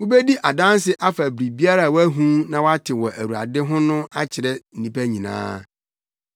Wubedi adanse afa biribiara a woahu na woate wɔ Awurade ho no akyerɛ nnipa nyinaa.